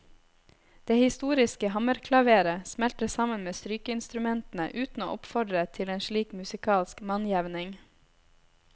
Det historiske hammerklaveret smelter sammen med strykeinstrumentene uten å oppfordre til en slik musikalsk mannjevning.